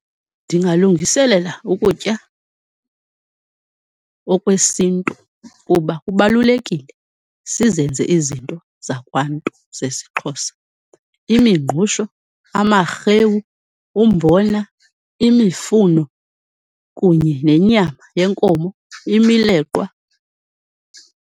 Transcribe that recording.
Ndingalungiselela ukutya okwesintu kuba kubalulekile sizenze izinto zakwantu zesiXhosa imingqusho, amarhewu, umbona, imifuno kunye nenyama yenkomo, imileqwa.